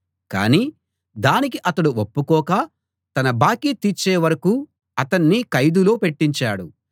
కాని దానికి అతడు ఒప్పుకోక తన బాకీ తీర్చేవరకూ అతణ్ణి ఖైదులో పెట్టించాడు